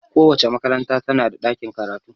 Kowace makaranta tana da ɗakin karatu.